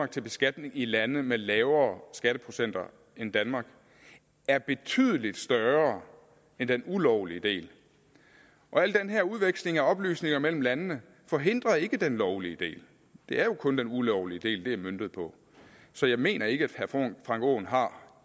til beskatning i lande med lavere skatteprocenter end danmark er betydeligt større end den ulovlige del og al den her udveksling af oplysninger mellem landene forhindrer ikke den lovlige del det er jo kun den ulovlige del det er møntet på så jeg mener ikke at herre frank aaen har